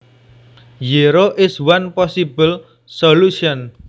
Zero is one possible solution